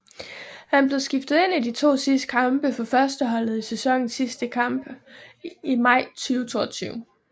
Han blev skiftet ind i de to sidste kampe for førsteholdet i sæsonens sidste kampe i maj 2022